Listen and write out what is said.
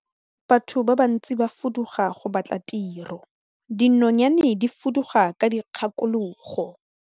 Batho ba bantsi ba fuduga go batla tiro, dinonyane di fuduga ka dikgakologo.